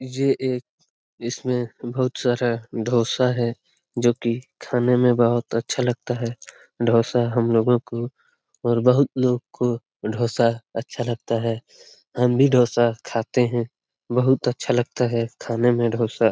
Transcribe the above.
ये एक इस में बहुत सारा डोसा है जो कि खाने में बहुत अच्छा लगता है डोसा हम लोगो को और बहुत लोग को डोसा अच्छा लगता है हम भी डोसा खाते हैं बहुत अच्छा लगता है खाने में डोसा।